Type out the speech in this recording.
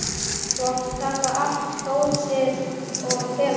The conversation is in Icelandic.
Þú átt að taka allt góssið og fela það.